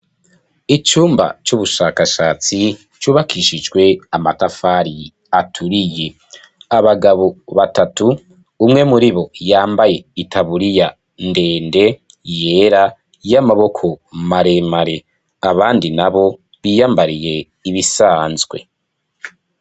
Icumba c'ubushakashatsi c'ubakishijwe amatafari aturiye, abagabo batatu, umwe muribo yambaye itaburiya ndende yera y'amaboko maremare, abandi nabo biyambariye ibisanzwe.